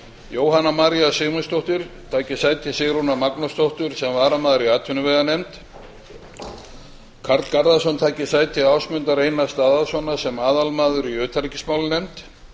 jóhanna maría sigmundsdóttir taki sæti sigrúnar magnúsdóttur sem varamaður í atvinnuveganefnd karl garðarsson taki sæti ásmundar einars daðasonar sem aðalmaður í utanríkismálanefnd